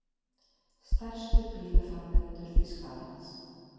Stærstu bílaframleiðendur Þýskalands.